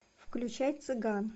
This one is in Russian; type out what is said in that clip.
включай цыган